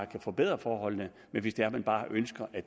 kan forbedre forholdene hvis det er man bare ønsker at